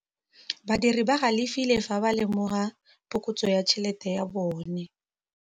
Badiri ba galefile fa ba lemoga phokotsô ya tšhelête ya bone.